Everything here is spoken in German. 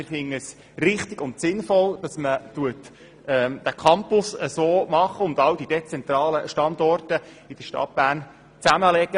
Wir finden es richtig und sinnvoll, dass man den Campus im Weyermannshaus so macht und all die dezentralen Standorte in der Stadt Bern zusammenlegt.